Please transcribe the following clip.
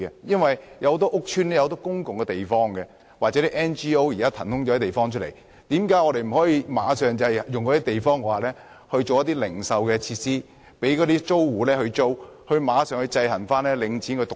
其實，很多屋邨有很多公共地方，或是 NGO 騰空的地方，為何我們不立刻在這些地方提供零售設施，以供租戶租用，制衡領展獨大？